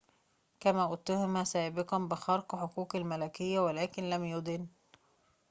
كما اُتهم سابقًا بخرق حقوق الملكية ولكن لم يُدن